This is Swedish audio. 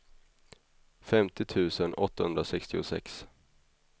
femtio tusen åttahundrasextiosex